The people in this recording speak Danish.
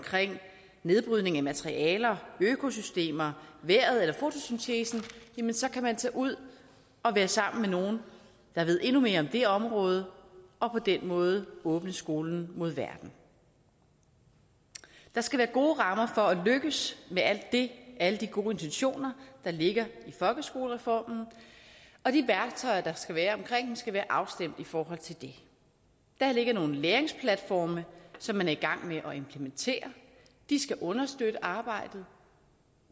nedbrydning af materialer økosystemer vejret eller fotosyntesen jamen så kan man tage ud og være sammen med nogen der ved endnu mere om det område og på den måde åbne skolen mod verden der skal være gode rammer for at lykkes med alt det alle de gode intentioner der ligger i folkeskolereformen og de værktøjer der skal være omkring dem skal være afstemt i forhold til det der ligger nogle læringsplatforme som man er i gang med at implementere de skal understøtte arbejdet